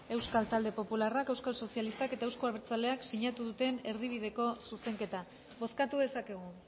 euskal talde popularrak euskal sozialistak eta euzko abertzaleak sinatu duten erdibideko zuzenketa bozkatu dezakegu